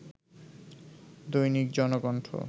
Dainik Janakantha